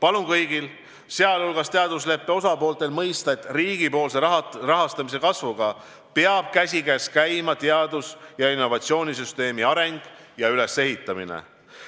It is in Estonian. Palun kõigil, sh teadusleppe osapooltel, mõista, et riigipoolse rahastamise kasvuga peab käsikäes käima teadus- ja innovatsioonisüsteemi areng ja ülesehitamine,